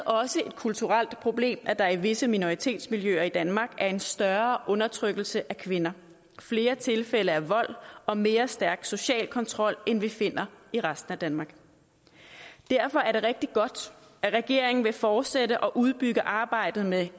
også et kulturelt problem at der i visse minoritetsmiljøer i danmark er en større undertrykkelse af kvinder flere tilfælde af vold og mere stærk social kontrol end vi finder i resten af danmark derfor er det rigtig godt at regeringen vil fortsætte og udbygge arbejdet med